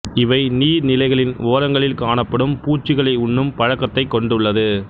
இவை நீர் நிலைகளின் ஓரங்களில் காணப்படும் பூச்சிகளை உண்ணும் பழக்கத்தைக் கொண்டுள்ளது